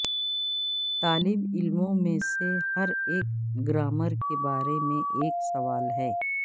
طالب علموں میں سے ہر ایک گرامر کے بارے میں ایک سوال ہے